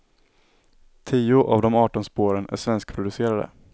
Tio av de arton spåren är svenskproducerade.